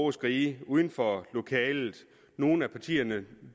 og skrige uden for lokalet nogle af partierne